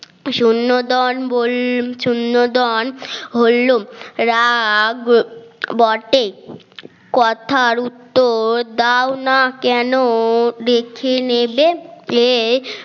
সুনন্দন হলো রাগ বটে কথার উত্তর দাও না কেন দেখে নেবেন এ